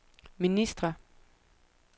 ministre